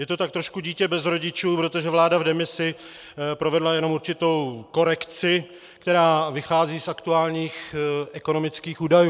Je to tak trošku dítě bez rodičů, protože vláda v demisi provedla jenom určitou korekci, která vychází z aktuálních ekonomických údajů.